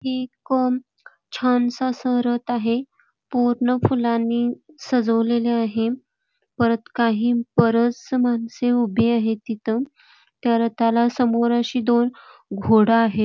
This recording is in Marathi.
हे एक छानसं असं रथ आहे पूर्ण फुलांनी सजवलेले आहे परत बरीच माणसं उभी आहेत तिथं त्या रथाला समोर अशी दोन घोड आहे.